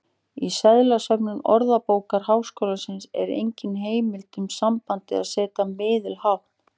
Í seðlasöfnum Orðabókar Háskólans er engin heimild um sambandið að setja miðið hátt.